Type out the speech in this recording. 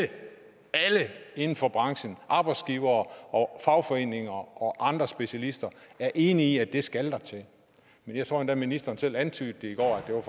inden for branchen arbejdsgivere og fagforeninger og andre specialister er enige i skal til jeg tror endda at ministeren selv antydede det i går at